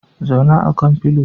Zauna akan filio